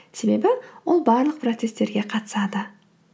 себебі ол барлық процесстерге қатысады